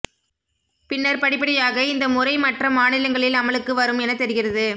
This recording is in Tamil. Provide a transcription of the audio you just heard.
பின்னர் படிப்படியாக இந்த முறை மற்ற மாநிலங்களில் அமலுக்கு வரும் என தெரிகிறது